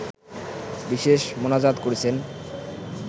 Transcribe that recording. বিশেষ মোনাজাত করেছেন